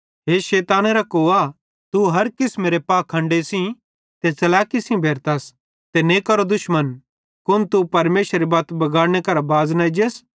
हे शैतानेरे कोआ तू हर किसमेरी पाखंडे सेइं ते च़लैकी सेइं भेरतस ते नेकारो दुश्मन कुन तू परमेशरेरी बत्त बगाड़ने करां बाज़ न एजस